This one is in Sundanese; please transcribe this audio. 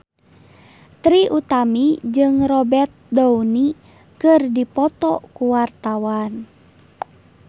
Trie Utami jeung Robert Downey keur dipoto ku wartawan